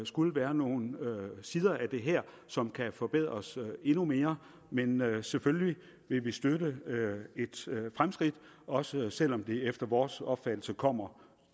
skulle være nogle sider af det her som kan forbedres endnu mere men vi vil selvfølgelig støtte et fremskridt også selv om det efter vores opfattelse kommer